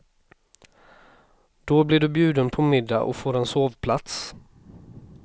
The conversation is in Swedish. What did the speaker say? Då blir du bjuden på middag och får en sovplats.